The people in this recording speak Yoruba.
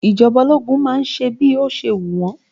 Ìjọba ológun má ń ṣe bí ó ṣe wù wọn